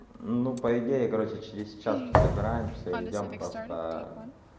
ну по идее короче через час все собираемся и идём просто